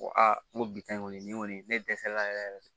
Ko a n ko bi tan kɔni nin kɔni ne dɛsɛra yɛrɛ yɛrɛ de